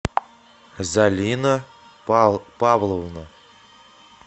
залина павловна